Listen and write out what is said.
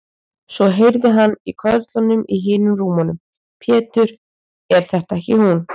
Svo heyrði hann í körlunum í hinum rúmunum: Pétur, er þetta ekki hún.